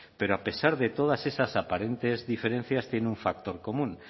pero a pesar de todas estas aparentes diferencias tiene un factor común